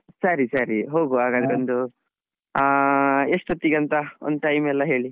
ಸರಿ ಸರಿ ಹೋಗುವ ಹಾಗಾದ್ರೆ ಅಹ್ ಎಷ್ಟೋತ್ತಿಗೆ ಅಂತ ಒಂದ್ time ಎಲ್ಲ ಹೇಳಿ.